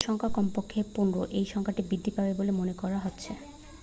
মৃতের সংখ্যা কমপক্ষে 15 এই সংখ্যা বৃদ্ধি পাবে বলে মনে করা হচ্ছে